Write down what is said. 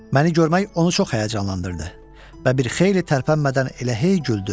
Məni görmək onu çox həyəcanlandırdı və bir xeyli tərpənmədən elə hey güldü.